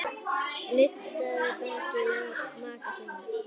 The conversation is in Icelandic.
Nuddaðu bakið á maka þínum.